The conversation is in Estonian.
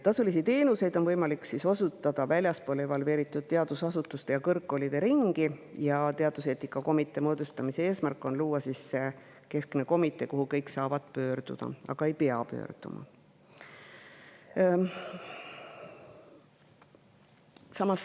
Tasulisi teenuseid on võimalik osutada väljaspool evalveeritud teadusasutuste ja kõrgkoolide ringi ning teaduseetika komitee moodustamise eesmärk on luua keskne komitee, kuhu kõik saavad pöörduda, aga ei pea pöörduma.